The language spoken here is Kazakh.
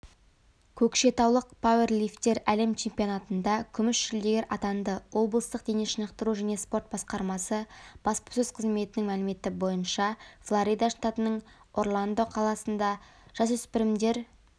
көкшетаулық пауэрлифтер әлем чемпионатында күміс жүлдегер атанды облыстық денешынықтыру және спорт басқармасы баспасөз қызметінің мәліметі бойынша флорида штатының орландо қаласында жасөспірімдер